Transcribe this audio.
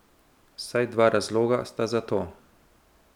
Vsaj dva razloga sta za to.